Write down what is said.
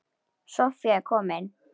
Soffía er komin.